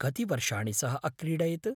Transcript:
कति वर्षाणि सः अक्रीडयत्?